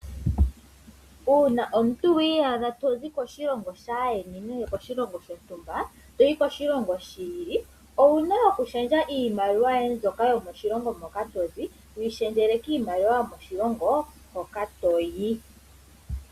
Uuna omu tu wa iyadha to zi koshilongo shaayeni nenge koshilongo shontumba toyi koshilongo shi ili, owuna okulundulula iimaliwa yoye mbyoka yomoshilongo moka to zi, wu yi lundululile miimaliwa yo moshilongo hoka to yi.